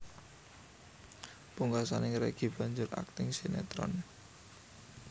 Pungkasané Reggy banjur akting sinétron